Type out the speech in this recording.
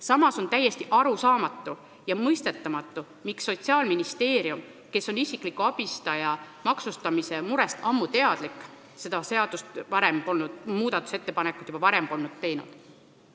Samas on täiesti arusaamatu ja mõistetamatu, miks Sotsiaalministeerium, kes on isikliku abistaja teenuse maksustamise murest ammu teadlik, pole seda muudatusettepanekut juba varem teinud.